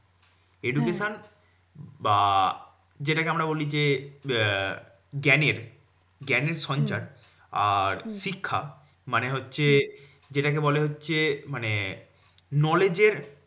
Education বা যেটাকে আমরা বলি যে আহ জ্ঞানের জ্ঞানের সঞ্চার। আর শিক্ষা মানে হচ্ছে, যেটাকে বলে হচ্ছে মানে knowledge এর